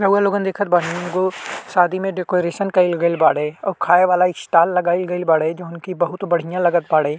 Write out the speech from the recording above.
रउवा लोगन देखत बानी एगो शादी में डेकोरेशन कइल गेल बाड़े। अओ खाए वाला स्टॉल लगाइल गइल बाड़े जोन की बहुत बढ़िया लगत बाड़े।